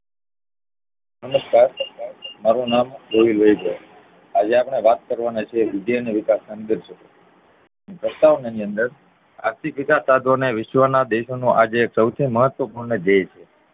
નમસ્કાર મારુ નામ છે. આજે આપડે વાત કરવા ના છે વૃદ્ધિ અને વિકાસ સંગતે પ્રસ્તાવના ની અંદર આર્થિક વિકાશ સાધવો વિશ્વ ના દેશો નો આજે સોઉથી મહત્વપૂર્ણ ધયેય છે